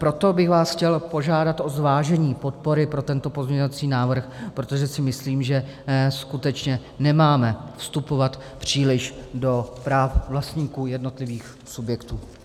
Proto bych vás chtěl požádat o zvážení podpory pro tento pozměňovací návrh, protože si myslím, že skutečně nemáme vstupovat příliš do práv vlastníků jednotlivých subjektů.